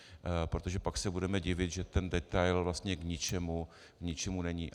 Protože pak se budeme divit, že ten detail vlastně k ničemu není.